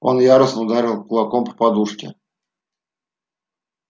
он яростно ударил кулаком по подушке